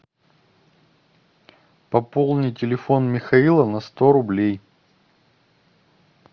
пополни телефон михаила на сто рублей